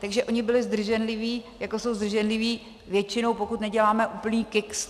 Takže oni byli zdrženliví, jako jsou zdrženliví většinou, pokud neděláme úplný kiks.